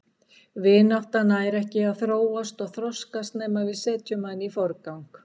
Vinátta nær ekki að þróast og þroskast nema við setjum hana í forgang.